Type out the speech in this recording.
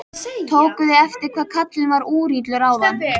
Tókuð þið eftir hvað karlinn var úrillur áðan?